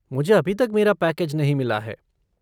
मुझे अभी तक मेरा पैकेज नहीं मिला है।